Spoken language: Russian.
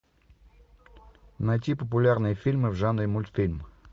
найти популярные фильмы в жанре мультфильм